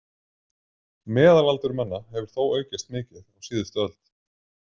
Meðalaldur manna hefur þó aukist mikið á síðustu öld.